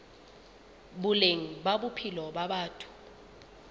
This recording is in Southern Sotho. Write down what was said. boleng ba bophelo ba batho